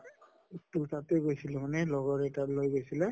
তʼ তাতে গৈছিলো লগৰ এটাৰ লৈ গৈছিলে